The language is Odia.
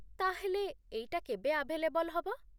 ତା'ହେଲେ ଏଇଟା କେବେ ଆଭେଲେବଲ୍ ହବ?